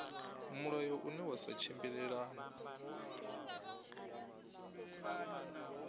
mulayo une wa sa tshimbilelane